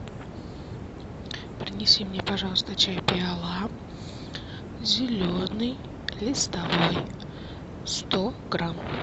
принеси мне пожалуйста чай пиала зеленый листовой сто грамм